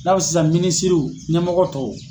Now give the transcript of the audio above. I n'a fɔ sisan minisiriw ɲɛmɔgɔ tɔw.